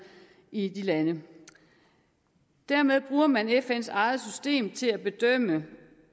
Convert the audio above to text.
i de lande dermed bruger man fns eget system til at bedømme